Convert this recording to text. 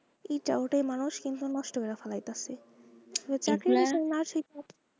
এই ওটা তা মানুষ কিন্তু নষ্ট কইরা ফালাইতাছে ,